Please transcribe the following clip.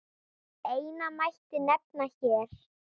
Eina mætti nefna hér.